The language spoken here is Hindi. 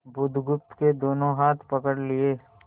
बुधगुप्त के दोनों हाथ पकड़ लिए